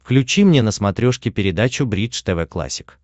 включи мне на смотрешке передачу бридж тв классик